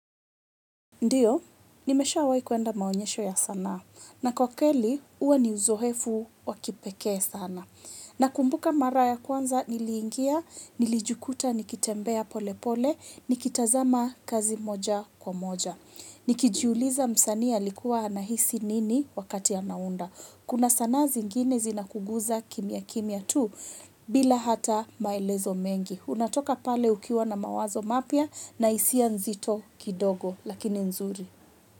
Ndio, nimeshawahi kuenda maonyesho ya sanaa. Na kwa kweli, huwa ni uzoefu wa kipekee sana. Nakumbuka mara ya kwanza niliingia, nilijukuta, nikitembea pole pole, nikitazama kazi moja kwa moja. Nikijuuliza msanii alikuwa anahisi nini wakati anaunda. Kuna sanaa zingine zinakuguza kimya kimya tu bila hata maelezo mengi. Unatoka pale ukiwa na mawazo mapya na hisia nzito kidogo. Lakini nzuri.